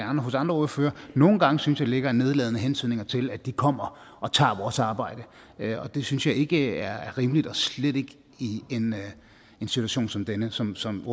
hos andre ordførere nogle gange synes jeg ligger nedladende hentydninger til at de kommer og tager vores arbejde og det synes jeg ikke er rimeligt og slet ikke i en situation som denne som som